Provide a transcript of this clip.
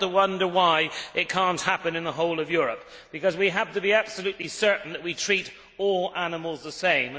I wonder why it cannot happen in the whole of Europe, because we have to be absolutely certain that we treat all animals the same.